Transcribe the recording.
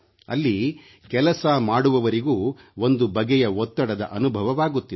ಅಲ್ಲಿ ಕೆಲಸ ಮಾಡುವವರಿಗೂ ಒಂದು ಬಗೆಯ ಒತ್ತಡದ ಅನುಭವವಾಗುತ್ತಿದೆ